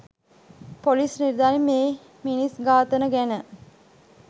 police නිලධාරින් මේ මිනිස් ඝාතන ගැන